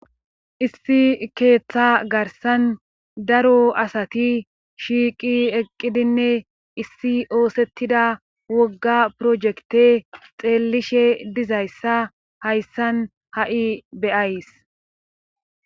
Issi keeththa garsan daro asati shiiqi eqqidinne issi oosettida wogga projekte xeellishe dizayssa hayssan ha7i beyays